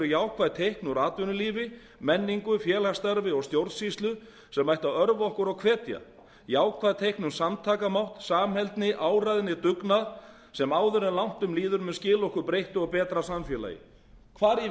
jákvæð teikn úr atvinnulífi menningu félagsstarfi og stjórnsýslu sem ætti að örva okkur og hvetja jákvæð teikn um samtakamátt samheldni áræðni dugnað sem áður en langt um líður mun skila okkur breyttu og betra samfélagi hvar í